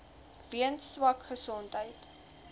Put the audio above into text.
weens swak gesondheid